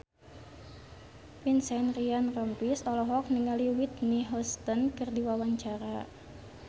Vincent Ryan Rompies olohok ningali Whitney Houston keur diwawancara